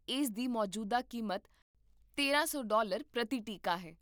ਇਸ ਦੀ ਮੌਜੂਦਾ ਕੀਮਤ ਤੇਰਾਂ ਸੌ ਡਾਲਰ ਪ੍ਰਤੀ ਟੀਕਾ ਹੈ